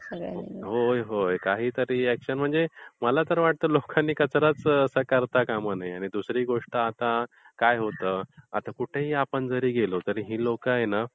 होय, होय. ping sound काहीतरी अॅक्शन म्हणजे मला तरी वाटतं की लोकांनी कचराच करता कामा नये आणि दुसरी गोष्ट आता काय होतं की कुठेही आपण जरी गेलो तरी लोकं आहे ना